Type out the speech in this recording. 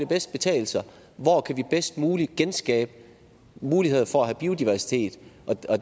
bedst betale sig og hvor kan vi bedst muligt genskabe mulighed for at have biodiversitet